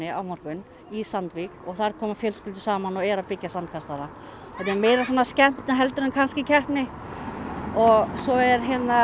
á morgun í Sandvík þar koma fjölskyldur saman og eru að byggja sandkastala þetta er meira skemmtun heldur en keppni svo er